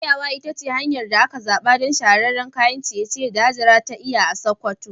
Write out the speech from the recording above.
Soyawa ita ce hanyar da aka zaɓa don shahararren kayan ciye-ciye da Hajara ta yi a Sakkwato.